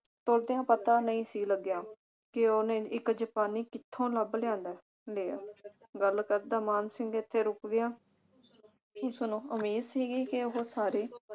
ਪਤਾ ਨਹੀਂ ਸੀ ਲੱਗਿਆ ਕਿ ਉਸਨੇ ਇਕ ਜਪਾਨੀ ਕਿਥੋਂ ਲੱਭ ਲਿਆਂਦਾ ਲਿਆ। ਗੱਲ ਕਰਦਾ ਮਾਨ ਸਿੰਘ ਇਥੇ ਰੁਕ ਗਿਆ। ਉਸਨੂੰ ਉਮੀਦ ਸੀਗੀ ਕਿ ਉਹ ਸਾਰੇ